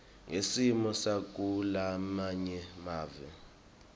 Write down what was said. ngesimo sakulamanye mave